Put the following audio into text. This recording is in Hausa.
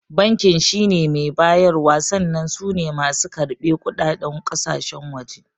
Bankin shine mai bayarwa sannan sune masu karɓe kuɗaɗen kasashen waje